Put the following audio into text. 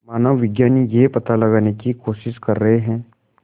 मानवविज्ञानी यह पता लगाने की कोशिश कर रहे हैं